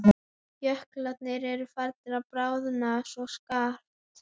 Jöklarnir eru farnir að bráðna svo skarpt.